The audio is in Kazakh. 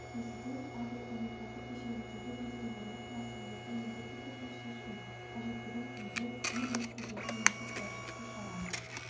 президент агроөнеркәсіп кешеніндегі ветеринарлық мәселелерді міндетті түрде шешу қажеттігін тілге тиек етті деді мемлекет басшысы шара